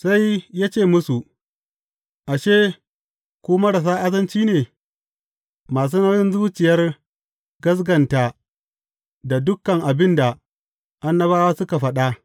Sai ya ce musu, Ashe, ku marasa azanci ne, masu nauyin zuciyar gaskata, da dukan abin da annabawa suka faɗa!